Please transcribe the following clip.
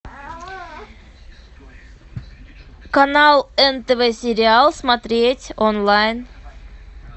канал нтв сериал смотреть онлайн